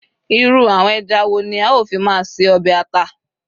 irú àwọn eja wo ni a o fi ma se obe ata